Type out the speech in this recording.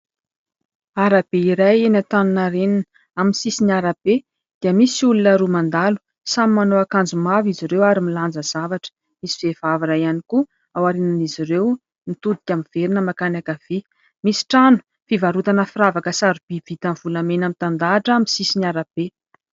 Arabe iray eny Antaninarenina amin'ny sisiny arabe dia misy olona roa mandalo samy manao akanjo mavo izy ireo ary milanja zavatra. Misy vehivavy iray ihany koa ao aorian'izy ireo mitodika miverina mankany ankavia. Misy trano fivarotana firavaka sarobidy vita amin'ny volamena mitandahatra amin'ny sisiny arabe.